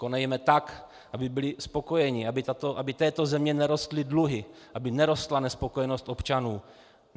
Konejme tak, aby byli spokojeni, aby této zemi nerostly dluhy, aby nerostla nespokojenost občanů.